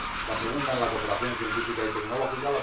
la segunda, en la cooperación científica y tecnológica